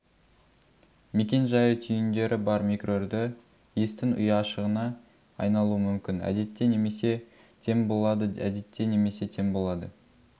мекен-жайы түйіндері бар микроүрді естің ұяшығына айналуы мүмкін әдетте немесе тең болады әдетте немесе тең болады